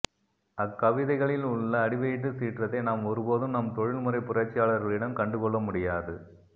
அக்கவிதைகளில் உள்ள அடிவயிற்றுச் சீற்றத்தை நாம் ஒருபோதும் நம் தொழில்முறைப்புரட்சியாளர்களிடம் கண்டுகொள்ள முடியாது